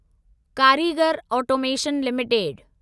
कारीगर automation limited